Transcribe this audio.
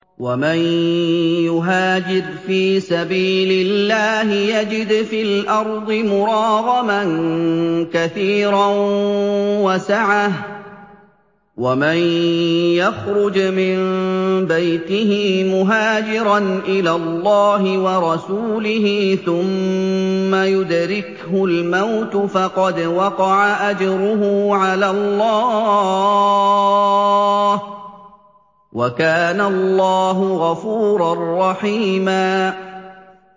۞ وَمَن يُهَاجِرْ فِي سَبِيلِ اللَّهِ يَجِدْ فِي الْأَرْضِ مُرَاغَمًا كَثِيرًا وَسَعَةً ۚ وَمَن يَخْرُجْ مِن بَيْتِهِ مُهَاجِرًا إِلَى اللَّهِ وَرَسُولِهِ ثُمَّ يُدْرِكْهُ الْمَوْتُ فَقَدْ وَقَعَ أَجْرُهُ عَلَى اللَّهِ ۗ وَكَانَ اللَّهُ غَفُورًا رَّحِيمًا